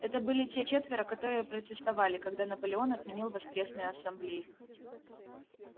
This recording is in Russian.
это были те четверо которые протестовали когда наполеон отменил воскресные ассамблеи